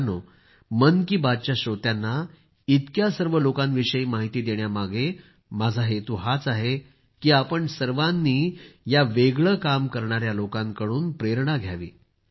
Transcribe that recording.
मित्रांनो मन की बात च्या श्रोत्यांना इतक्या सर्व लोकांविषयी माहिती देण्यामागं माझा हेतू हाच आहे की आपण सर्वांनी या वेगळं काम करणाया लोकांकडून प्रेरणा घ्यावी